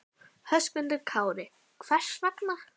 Höskuldur Kári: Hvers vegna?